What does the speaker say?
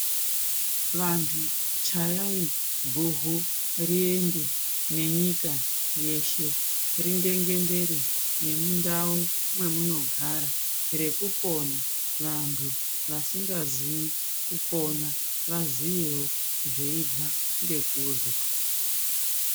Vantu chayai guvhu reende munyika yeshe ringengendere nemundau wemunogara rekupora vantu vasingazivi kupona vazivewo nekubva zvekunzwa.